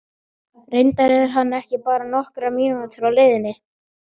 Reyndar er hann bara nokkrar mínútur á leiðinni.